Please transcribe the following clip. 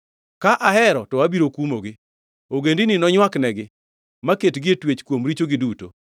Ka ahero to abiro kumogi; ogendini nonywaknegi, maketgi e twech kuom richogi duto.